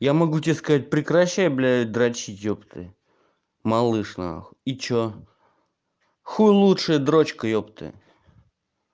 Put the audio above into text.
я могу тебе сказать прекращай блядь дрочить ёпты малыш на хуй и что хуй лучшая дрочка ёпты